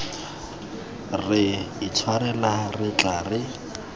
re itshwarela re tla re